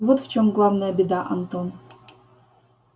вот в чем главная беда антон